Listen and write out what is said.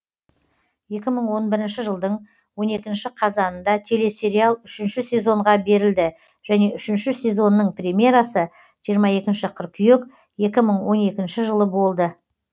екі мың он бірінші жылдың он екінші қазанында телесериал үшінші сезонға берлді және үшініші сезонның премьерасы жиырма екінші қыркүйек екі мың он екінші жылы болды